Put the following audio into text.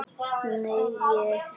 Nei, held ekki.